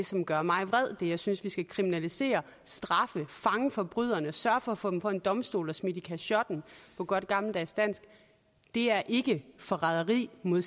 som gør mig vred og som jeg synes vi skal kriminalisere og straffe fange forbryderne og sørge for at få dem for en domstol og smidt i kachotten på godt gammeldags dansk er ikke forræderi mod